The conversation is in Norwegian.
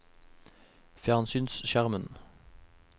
fjernsynsskjermen